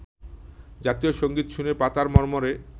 জাতীয় সংগীত শুনে পাতার মর্মরে